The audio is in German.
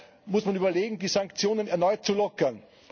Daher muss man überlegen, die Sanktionen erneut zu lockern.